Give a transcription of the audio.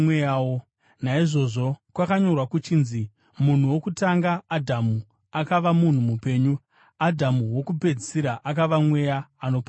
Naizvozvo kwakanyorwa kuchinzi: “Munhu wokutanga, Adhamu, akava munhu mupenyu;” Adhamu wokupedzisira akava mweya unopa upenyu.